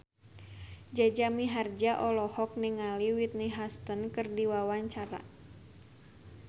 Jaja Mihardja olohok ningali Whitney Houston keur diwawancara